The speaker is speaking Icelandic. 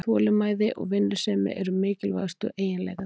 Þolinmæði og vinnusemi eru mikilvægustu eiginleikarnir